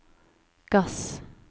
gass